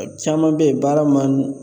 Caman bɛ yen, baara man di